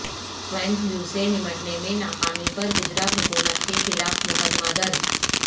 swine flu سے نمٹنے میں ناکامی پر گجرات حکومت کے خلاف مقدمہ درج